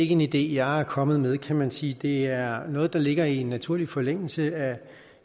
en idé jeg er kommet med kan man sige det er noget der ligger i naturlig forlængelse af